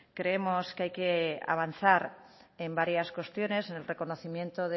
creemos que hay que avanzar en varias cuestiones en el reconocimiento